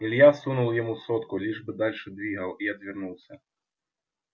илья сунул ему сотку лишь бы дальше двигал и отвернулся